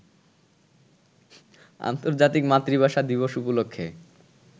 আন্তর্জাতিক মাতৃভাষা দিবস উপলক্ষে